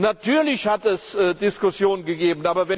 Natürlich hat es Diskussionen gegeben.